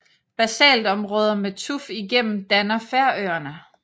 Basaltområder med tuf igennem danner Færøerne